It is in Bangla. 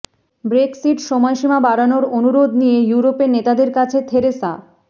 ব্রেক্সিট সময়সীমা বাড়ানোর অনুরোধ নিয়ে ইউরোপের নেতাদের কাছে থেরেসা